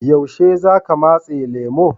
Yaushe za ka matse lemu?